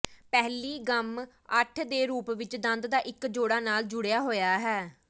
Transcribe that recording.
ਪਹਿਲੀ ਗੰਮ ਅੱਠ ਦੇ ਰੂਪ ਵਿੱਚ ਦੰਦ ਦਾ ਇੱਕ ਜੋੜਾ ਨਾਲ ਜੁੜਿਆ ਹੋਇਆ ਹੈ